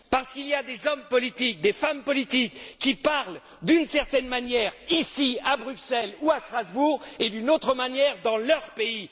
Parce qu'il y a des hommes politiques, des femmes politiques qui parlent d'une certaine manière, ici à Bruxelles ou à Strasbourg, et d'une autre manière dans leur pays